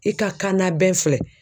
I ka kan na bɛɛ filɛ.